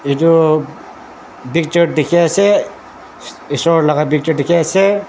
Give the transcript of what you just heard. edu picture dikhiase esor laka picture dikhiase.